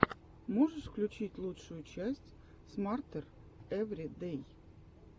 можешь включить лучшую часть смартер эври дэй